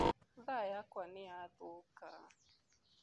Thaa yakwa nĩ yathũka.